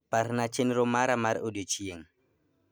Parna chenro mara mar odiechieng'